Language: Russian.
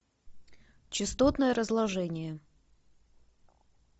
частотное разложение